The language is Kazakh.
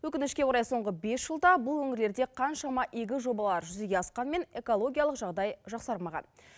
өкінішке қарай соңғы бес жылда бұл өңірлерде қаншама игі жобалар жүзеге асқанмен экологиялық жағдай жақсармаған